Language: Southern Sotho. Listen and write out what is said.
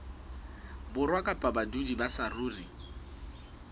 borwa kapa badudi ba saruri